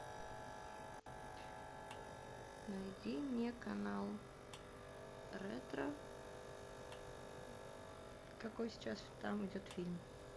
найди мне канал ретро какой сейчас там идет фильм